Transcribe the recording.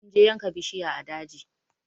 Mun je yanka bishiya a daji